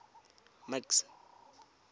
max